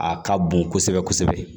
A ka bon kosɛbɛ kosɛbɛ